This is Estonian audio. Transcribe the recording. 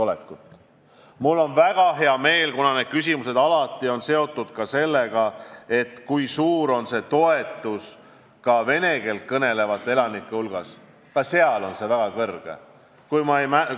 Need küsimused teevad alati kindlaks ka selle, kui suur on toetus vene keeles kõnelevate elanike hulgas, ja mul on väga hea meel, et seegi protsent oli väga kõrge.